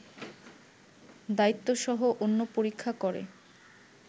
দায়িত্বসহ অন্য পরীক্ষা করে